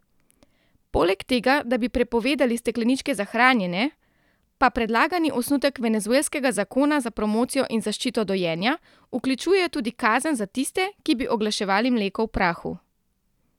Poleg tega, da bi prepovedali stekleničke za hranjenje, pa predlagani osnutek venezuelskega zakona za promocijo in zaščito dojenja vključuje tudi kazen za tiste, ki bi oglaševali mleko v prahu.